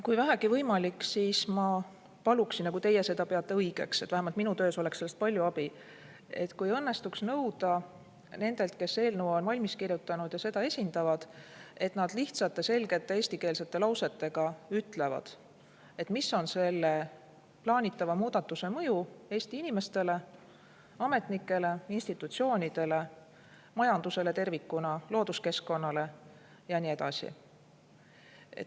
Kui vähegi võimalik ja kui teie ka peate seda õigeks, siis ma paluksin, vähemalt minu töös oleks sellest palju abi, kui õnnestuks nõuda nendelt, kes eelnõu on valmis kirjutanud ja seda esindavad, et nad lihtsate selgete eestikeelsete lausetega ütlevad, milline on plaanitava muudatuse mõju Eesti inimestele, ametnikele, institutsioonidele, majandusele tervikuna, looduskeskkonnale ja nii edasi.